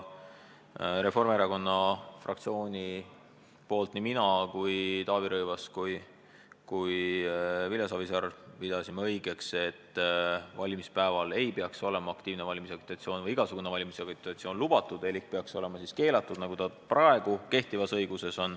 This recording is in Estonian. Reformierakonna fraktsioonist pidasime nii mina, Taavi Rõivas kui ka Vilja Savisaar õigeks, et valimispäeval ei peaks aktiivne valimisagitatsioon ega mis tahes muu valimisagitatsioon olema lubatud ehk see peaks olema keelatud, nagu on praegu kehtivas õiguses.